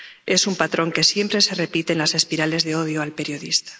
Es un patrón que siempre se repite en las espirales de odio al periodista.